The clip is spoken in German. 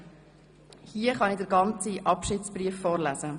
Ich kann hier den ganzen Abschiedsbrief vorlesen: